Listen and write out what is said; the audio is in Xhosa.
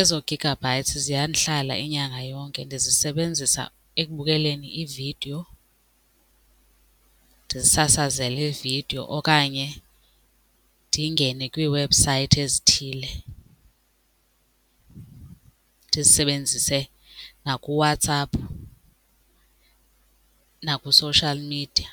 Ezo gigabytes ziyandihlala inyanga yonke, ndizisebenzisa ekubukeleni iividiyo ndisasazele iividiyo okanye ndingene kwiiwebhusayithi ezithile ndizisebenzise nakuWhatsApp nakwi-social media.